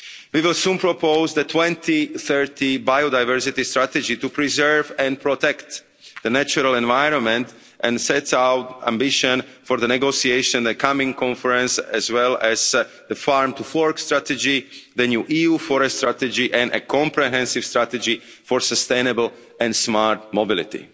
We will soon propose the 2030 biodiversity strategy to preserve and protect the natural environment and set out our ambition for the negotiations at the coming conference as well as the farm to fork' strategy, the new EU forest strategy and a comprehensive strategy for sustainable and smart mobility.